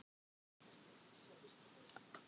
Valmar, hvaða mánaðardagur er í dag?